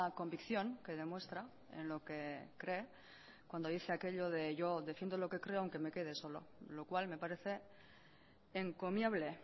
convicción que demuestra en lo que cree cuando dice aquello de yo defiendo lo que creo aunque me quede solo lo cual me parece encomiable